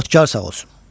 Xodkar sağ olsun.